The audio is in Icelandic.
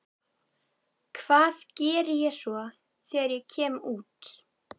Hvað geri ég svo þegar ég kem út?